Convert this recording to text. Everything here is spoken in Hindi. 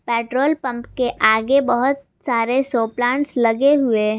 पेट्रोल पंप के आगे बहोत सारे शो प्लांट्स लगे हुए--